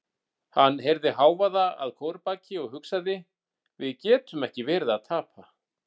Hann heyrði hávaða að kórbaki og hugsaði: við getum ekki verið að tapa.